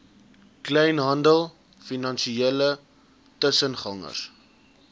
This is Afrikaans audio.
kleinhandel finansiële tussengangers